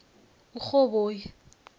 urhoboyi